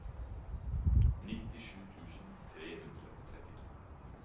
nittisju tusen tre hundre og trettito